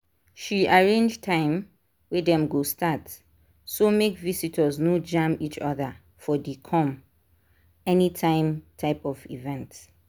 she arrange time wey dem go start so make visitors no jam each other for the come-anytime type of event.